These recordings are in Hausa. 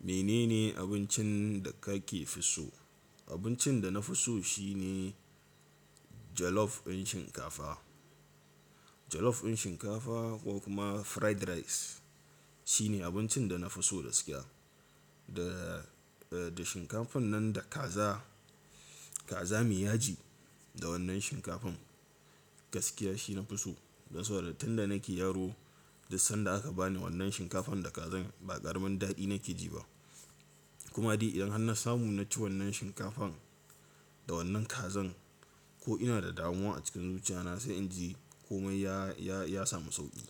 Menene abincin da kake so? Abincin da na fi so shine jollof ɗin shinkafa. Jollof ɗin shinkafa ko kuma fried rice shine abincin da na fi so gaskiya. Da, da shinkafan nan da kaza, kaza mai yaji da wannan shinkafan gaskiya shi na fi so. Dan saboda da tun da nake yaro, duk sanda aka bani wannan shinkafan da kazar ba ƙaramin daɗi nake ji ba. Kuma di idan har na samu na ci wannan shinkafan da wannan kazar ko ina da damuwa a cikin zuciya na sai in ji komai ya, ya, ya samu sauƙi.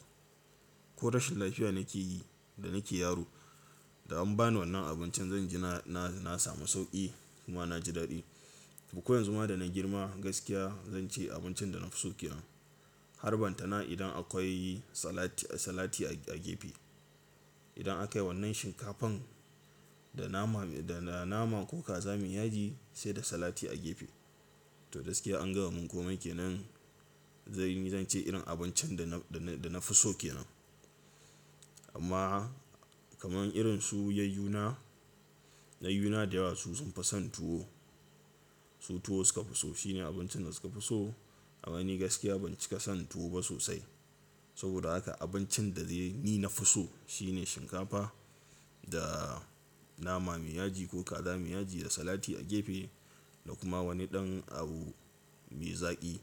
Ko rashin lafiya nake yi da nake yaro da an bani wannan abincin zan ji na, na, na samu sauƙi kuma na ji daɗi. Duk koyan zuma da na girma gaskiya zan ce abincin da na fi so ke nan. Harban ta na idan akwai salati, salati a gefe. Idan aka yi wannan shinkafan da nama, da nama ko kaza mai yaji sai da salati a gefe. To gaskiya an gama mun komai ke nan zan yi, zan ce irin abincin da na, da na fi so ke nan. Amma kaman irin su yayyuna, yayyuna da yawa su sun fi son tuwo. Su tuwo suka fi so. Shine abincin da suka fi so. Amma ni gaskiya ban cika son tuwo ba sosai. Saboda haka abincin da zai yi ni na fi so shine shinkafa da nama mai yaji ko kaza mai yaji da salati a gefe da kuma wani ɗan abu mai zaƙi.